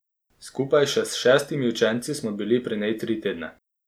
Skupaj še s šestimi učenci smo bili pri njej tri tedne.